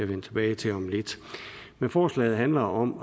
vende tilbage til om lidt forslaget handler om